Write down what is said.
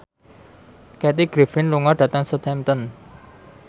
Kathy Griffin lunga dhateng Southampton